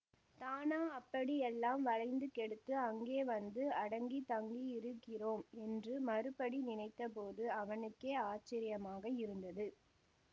தானா அப்படி எல்லாம் வளைந்து கேடுத்து அங்கே வந்து அடங்கித் தங்கியிருக்கிறோம் என்று மறுபடி நினைத்த போது அவனுக்கே ஆச்சரியமாக இருந்தது